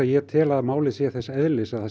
ég tel málið þess eðlis að það